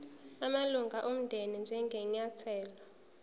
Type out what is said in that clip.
amalunga omndeni njengenyathelo